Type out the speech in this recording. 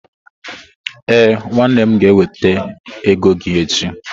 Ee, nwannem ga-eweta ego gi echi.